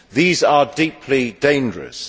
These are deeply dangerous.